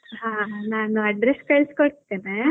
ಹಾ ನಾನ್ address ಕಳ್ಸಿ ಕೊಡ್ತೇನೆ.